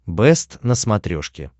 бэст на смотрешке